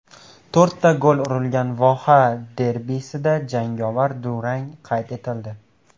To‘rtta gol urilgan voha derbisida jangovar durang qayd etildi .